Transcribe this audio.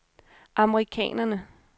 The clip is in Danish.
amerikanerne